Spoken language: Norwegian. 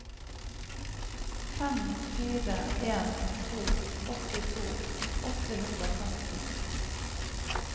fem fire en to åttito åtte hundre og femten